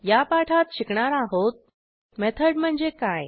या पाठात शिकणार आहोत मेथड म्हणजे काय